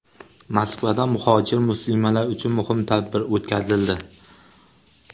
Moskvada muhojir muslimalar uchun muhim tadbir o‘tkazildi.